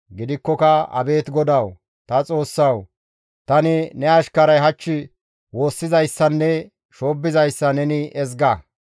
Gidikkoka abeet GODAWU, ta Xoossawu! Tani ne ashkaray hach woossizayssanne shoobbizayssa neni ezga.